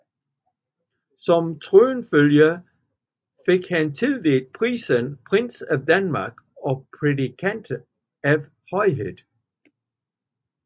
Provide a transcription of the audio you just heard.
Som tronfølger fik han tildelt titlen Prins til Danmark og prædikat af Højhed